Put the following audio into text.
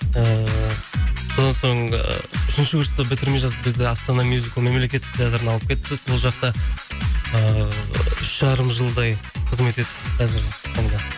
ыыы содан соң ы үшінші курсты бітірмей жатып бізді астана мюзикл мемлекеттік театрына алып кетті сол жақта ыыы үш жарым жылдай қызмет етіп қазір